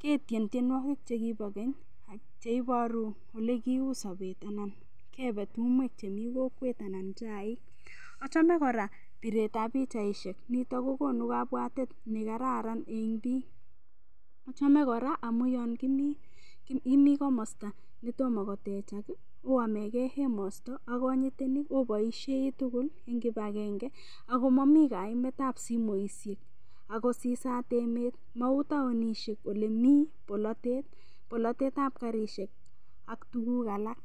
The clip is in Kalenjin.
ketyen tienwokik chekibo keny cheiboru ole kiu sobet anan kebe tumwek chemi kokwet anan chaik achome kora piretab pichaishek nito kokonu kabwatet nekararan eng' biik achome kora amun yo kimi komosta netomo kotechak oamekei emosto ak konyitenik oboishei tugul eng kipagenge akomami kaimetab simishek ako sisat emet mau taonishek ole mii bolatet bolatetab karishek ak tukuk alak